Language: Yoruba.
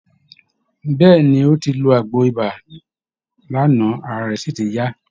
Bẹ́ẹ̀ ni, ó ti lo àgbo ibà lánàá, ara rẹ sì ti yá